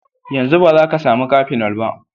Yanzu ba za ka sami cafenol ba.